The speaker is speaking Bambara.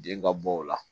Den ka bɔ o la